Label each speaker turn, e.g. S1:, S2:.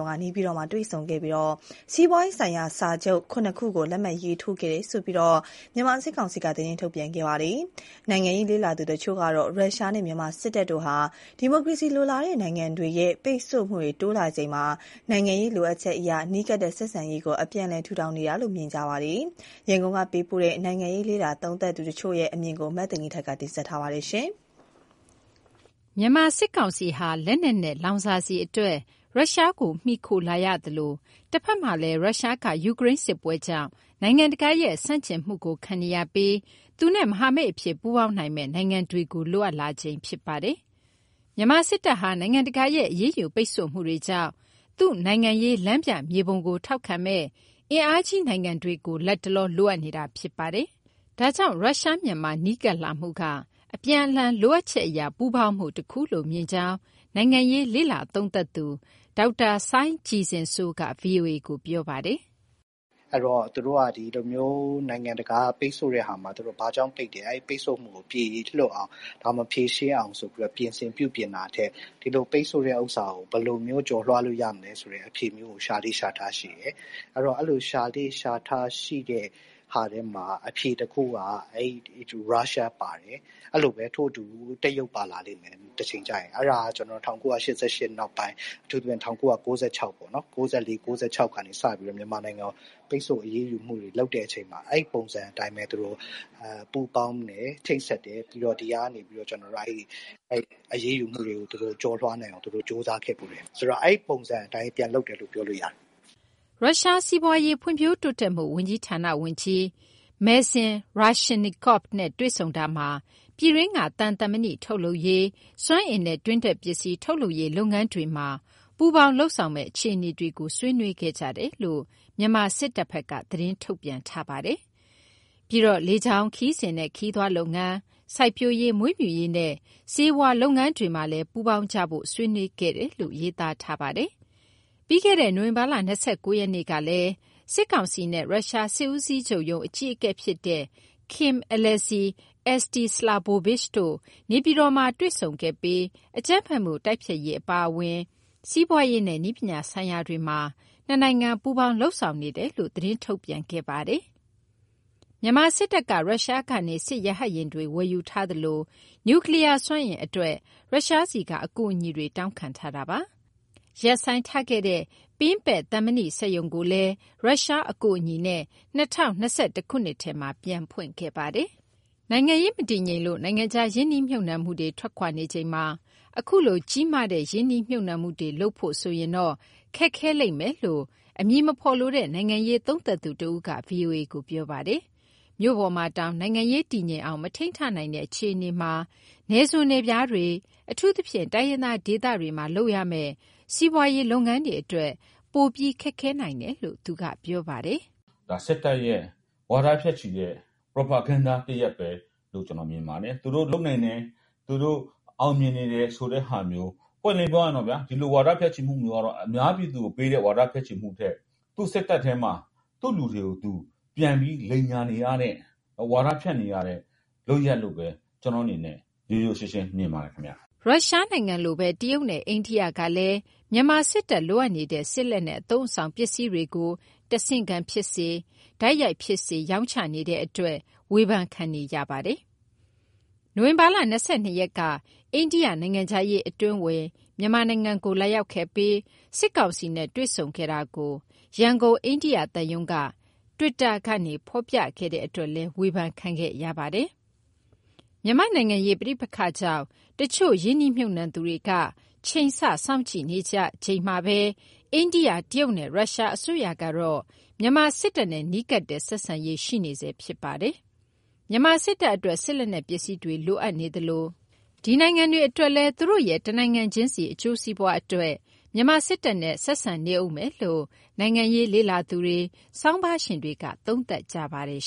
S1: ့က နေပြည်တော်မှာ တွေ့ဆုံခဲ့ပြီး စီးပွားရေးဆိုင်ရာ စာချုပ် ၇ ခုကို လက်မှတ်ရေးထိုး ခဲ့တယ်လို့ မြန်မာစစ်ကောင်စီက သတင်းထုတ်ပြန်ခဲ့ပါတယ်။ နိုင်ငံရေး လေ့လာသူတချို့ကတော့ ရုရှားနဲ့ မြန်မာစစ်တပ်တို့ဟာ ဒီမိုကရေစီ လိုလားတဲ့ နိုင်ငံတွေရဲ့ ပိတ်ဆို့မှုတွေ တိုးလာချိန်မှာ နိုင်ငံရေးလိုအပ်ချက်အရ နီးကပ်တဲ့ဆက်ဆံရေးကို အပြန်အလှန် ထူထောင်နေကြတယ်လို့ မြင်ပါတယ်။ ရန်ကုန်ကပေးပို့ထားတဲ့ နိုင်ငံရေး လေ့လာသူတချို့ရဲ့ အမြင်ကို မသိဂီင်္ထိုက်က ပြောပြမှာပါ။
S2: မြန်မာ စစ်ကောင်စီဟာ လက်နက်နဲ့ လောင်စာဆီအတွက် ရုရှားကို မှီခိုလာရသလို တဖက်မှာလည်း ရုရှားက ယူကရိန်းစစ်ပွဲကြောင့် နိုင်ငံတကာရဲ့ ဆန့်ကျင်မှုကို ခံနေရပြီး သူနဲ့မဟာမိတ်အဖြစ် ပူးပေါင်းနိုင်မယ့် နိုင်ငံတွေကို လိုအပ်လာချိန် ဖြစ်ပါတယ်။ မြန်မာစစ်တပ်ဟာ နိုင်ငံတကာရဲ့ အရေးယူ ပိတ်ဆို့မှုတွေကြောင့် သူ့နိုင်ငံရေး လမ်းပြမြေပုံကို ထောက်ခံမယ့် အင်အားကြီးနိုင်ငံတွေကို လက်တလော လိုအပ်နေတာဖြစ်ပါတယ်။ ဒါကြောင့် ရုရှား-မြန်မာ နီးကပ်လာမှုက အပြန်အလှန် လိုအပ်ချက်အရ ပူးပေါင်းမှုတခုလို့မြင်ကြောင်း နိုင်ငံရေး လေ့လာသုံးသပ်သူ ဒေါက်တာ စိုင်းကြည်ဇင်စိုးက ဗွီအိုအေကို ပြောပါတယ်။
S1: " အဲလို သူတို့က နိုင်ငံတကာက ပိတ်ဆို့တဲ့ဟာမှာ သူတို့ဘာကြောင့်ပိတ်တယ်၊ အဲဒီပိတ်ဆို့မှုကို ပြေလွတ်အောင်၊ ဖြေရှင်းအောင် ပြင်ဆင်ပြုပြင်တာထက် ဒီလို ပိတ်ဆို့တဲ့ဟာကို ဘယ်လိုမျိုး ကျော်လွှားလို့ရမလဲဆိုတဲ့ အဖြေမျိုးကို ရှာလေ့ရှာထရှိတယ်။ အဲလို ရှာလေ့ရှာထရှိတဲ့ ဟာထဲမှာ အဖြေတခုက ရုရှားပါတယ်၊ အဲလိုပဲ တရုတ်ပါလာလိမ့်မယ် တချိန်ကျရင်။ အဲဒါက ၁၉၈၈ နောက်ပိုင်း အထူးသဖြင့် ၁၉၉၆ပေါ့ ၉၄-၉၆ ကစပြီးတော့ မြန်မာနိုင်ငံကို ပိတ်ဆို့အရေးယူမှုတွေ လုပ်တဲ့အချိန်မှာ အဲပုံစံအတိုင်းပဲ သူတို့ပူးပေါင်းတယ်၊ ချိတ်ဆက်တယ်၊ အရေးယူမှုတွေ ကျော်လွှားနိုင်အောင် သူတို့ကြိုးစားခဲ့ဖူးတယ်။ ဆိုတော့ အဲဒီပုံစံအတိုင်း ပြန်လုပ်တယ်လို့ ပြောလို့ရတယ်။
S2: " ရုရှား စီးပွားရေး ဖွံ့ဖြိုးတိုးတက်မှု ဝန်ကြီးဌာန ဝန်ကြီး Mr Maxim Reshetnikov နဲ့တွေ့ဆုံတာမှာ ပြည်တွင်းက သံ၊ သံမဏိထုတ်လုပ်ရေး၊ စွမ်းအင်နဲ့ တွင်းထွက်ပစ္စည်း ထုတ်လုပ်ရေး လုပ်ငန်းတွေမှာ ပူးပေါင်း လုပ်ဆောင်မယ့် အခြေအနေတွေကို ဆွေးနွေးခဲ့ကြတယ်လို့ မြန်မာစစ်တပ်ဘက်က သတင်းထုတ်ပြန် ထားပါတယ်။ ပြီးတော့ လေကြောင်းခရီးစဉ်နဲ့ ခရီးသွားလုပ်ငန်း၊ စိုက်ပျိုးရေး၊ မွေးမြူရေးနဲ့ ဆေးဝါး လုပ်ငန်းတွေမှာလည်း ပူးပေါင်းကြဖို့ ဆွေးနွေးခဲ့တယ်လို့ ရေးသားထားပါတယ်။ ပြီးခဲ့တဲ့ နိုဝင်ဘာလ ၂၉ရက်ကလည်း စစ်ကောင်စီနဲ့ ရုရှား စစ်ဦးစီးချုပ်ရုံး အကြီးအကဲဖြစ်တဲ့ Kim Alexey Eostislavovich တို့ နေပြည်တော်မှာ တွေ့ဆုံခဲ့ပြီး အကြမ်းဖက်မှု တိုက်ဖျက်ရေး အပါအဝင် စီးပွားရေးနဲ့ နည်းပညာဆိုင်ရာတွေမှာ နှစ်နိုင်ငံ ပူးပေါင်း၊ လုပ်ဆောင်နေတယ်လို့ သတင်းထုတ်ပြန်ခဲ့ပါတယ်။ မြန်မာစစ်တပ်က ရုရှားကနေ စစ်ရဟတ်ယာဉ်တွေ ဝယ်ယူထားသလို နူကလီးယားစွမ်းအင်အတွက် ရုရှားဆီက အကူအညီတွေ တောင်းခံထားတာပါ။ ရပ်ဆိုင်းထားခဲ့တဲ့ ပင်းပက်သံမဏိ စက်ရုံကိုလည်း ရုရှားအကူအညီနဲ့ ၂၀၂၁ခုနှစ်ထဲမှာ ပြန်ဖွင့်ခဲ့ပါတယ်။ နိုင်ငံရေးမတည်ငြိမ်လို့ နိုင်ငံခြား ရင်းနှီးမြှုပ်နှံမှုတွေ ထွက်ခွာနေချိန်မှာ အခုလို ကြီးမားတဲ့ ရင်းနှီးမြှုပ်နှံမှုတွေလုပ်ဖို့ဆိုရင်တော့ ခက်ခဲလိမ့်မယ်လို့ အမည်မဖော်လိုတဲ့ နိုင်ငံရေးသုံးသပ်သူ တယောက်က ဗွီအိုအေကို ပြောပါတယ်။ မြို့ပေါ်မှာတောင် နိုင်ငံရေးတည်ငြိမ်အောင် မထိန်းထားနိုင်တဲ့ အခြေအနေမှာ နယ်စွန်နယ်ဖျားတွေ အထူးသဖြင့် တိုင်းရင်းသားဒေသတွေမှာ လုပ်ရမယ့် စီးပွားရေး လုပ်ငန်းတွေအတွက် ပိုပြီးခက်ခဲနိုင်တယ်လို့ သူကပြောပါတယ်
S3: ။ " စစ်တပ်ရဲ့ ဝါဒဖြန့်ချီတဲ့ propaganda တရပ်ပဲလို့ ကျနော်မြင်ပါတယ်။ သူတို့လုပ်နိုင်တယ်၊ သူတို့ အောင်မြင်နေတယ် ဆိုတဲ့ဟာမျိုး ပွင့်ပွင့်လင်းလင်း ပြောရရင် ဒီလိုဝါဒ ဖြန့်ချီမှုမျိုးကတော့ အများပြည်သူကိုပေးတဲ့ ဝါဒဖြန့်ချီမှုမျိုးထက် သူ့စစ်တပ်ထဲမှာ သူ့လူတွေကိုသူ ပြန်ပြီး လိမ်ညာနေရတဲ့၊ ဝါဒဖြန့်နေရတဲ့ လုပ်ရပ်လို့ပဲ ကျနော့အနေနဲ့ ရိုးရိုးရှင်းရှင်း မြင်ပါတယ်။"
S2: ရုရှားနိုင်ငံလိုပဲ တရုတ်နဲ့ အိန္ဒိယကလည်း မြန်မာစစ်တပ်လိုအပ်နေတဲ့ စစ်လက်နက် အသုံးအဆောင်ပစ္စည်းတွေကို တဆင့်ခံဖြစ်စေ၊ တိုက်ရိုက်ဖြစ်စေ ရောင်းချနေတဲ့အတွက် ဝေဖန်ခံနေရပါတယ်။ နိုဝင်ဘာ ၂၂ရက်က အိန္ဒိယ နိုင်ငံခြားရေးအတွင်းဝန် မြန်မာနိုင်ငံကို လာရောက်ခဲ့ပြီး စစ်ကောင်စီနဲ့ တွေ့ဆုံခဲ့တာကို ရန်ကုန်အိန္ဒိယသံရုံးက twitter ကနေ ဖော်ပြခဲ့တဲ့အတွက်လည်း ဝေဖန်ခံခဲ့ရပါတယ်။ မြန်မာ့နိုင်ငံရေး ပဋိပက္ခကြောင့် တချို့ ရင်းနှီးမြှုပ်နှံသူတွေက ချိန်ဆ၊ စောင့်ကြည့်နေချိန်မှာပဲ အိန္ဒိယ၊ တရုတ်နဲ့ ရုရှားအစိုးရကတော့ မြန်မာစစ်တပ်နဲ့ နီးကပ်တဲ့ ဆက်ဆံရေး ရှိနေဆဲဖြစ်ပါတယ်။ မြန်မာစစ်တပ်အတွက် စစ်လက်နက် ပစ္စည်းတွေလိုအပ်နေသလို ဒီနိုင်ငံတွေ အတွက်လည်း သူတို့ရဲ့ တနိုင်ငံချင်းစီ အကျိုးစီးပွားအတွက် မြန်မာစစ်တပ်နဲ့ ဆက်ဆံနေဦးမယ်လို့ နိုင်ငံရေးလေ့လာသူတွေ၊ ဆောင်းပါးရှင်တွေက သုံးသပ်နေကြပါတယ်